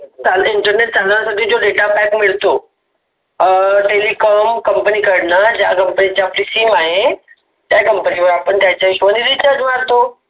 internet चालण्यासाठी जो data pack मिळतो. अं Company कडण ज्या Telecom Company चे आहे ते चांगल चालण्यासाठी आपण Recharge मारतो.